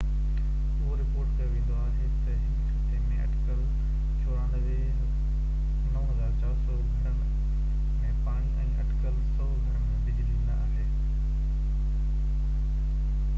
اهو رپورٽ ڪيو ويندو آهي تہ هن خطي ۾ اٽڪل 9400 گهرن ۾ پاڻي ۽ اٽڪل 100 گهرن ۾ بجلي نہ آهي